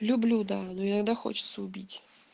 люблю да ну иногда хочется убить